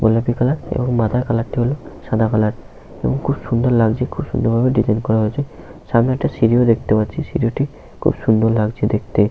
গোলাপি কালার এবং মাথার কালার - টি হলো সাদা কালার । এবং খুব সুন্দর লাগছে খুব সুন্দর ভাবে ডিসাইন করা হয়েছে । এবং সামনে একটা সিঁড়ি আছে সিড়িটিও খুব সুন্দর লাগছে দেখতে ।